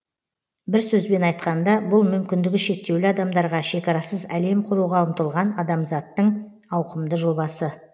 бір сөзбен айтқанда бұл мүмкіндігі шектеулі адамдарға шекарасыз әлем құруға ұмтылған адамзаттың ауқымды жобасы